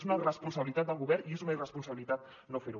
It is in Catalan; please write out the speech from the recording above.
és una responsabilitat del govern i és una irresponsabilitat no fer·ho